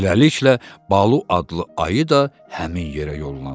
Beləliklə Balu adlı ayı da həmin yerə yollandı.